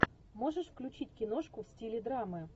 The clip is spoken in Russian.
можешь включить киношку в стиле драмы